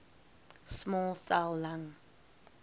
small cell lung